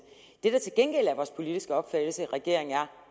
det der til gengæld er vores politiske opfattelse i regeringen er